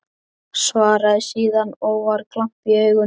Svaraði síðan, og var glampi í augunum: